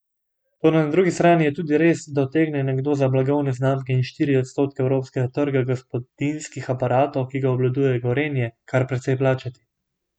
Toda na drugi strani je tudi res, da utegne nekdo za blagovne znamke in štiri odstotke evropskega trga gospodinjskih aparatov, ki ga obvladuje Gorenje, kar precej plačati.